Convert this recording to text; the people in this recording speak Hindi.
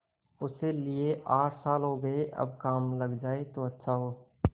उसे लिये आठ साल हो गये अब काम लग जाए तो अच्छा हो